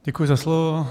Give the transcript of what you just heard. Děkuji za slovo.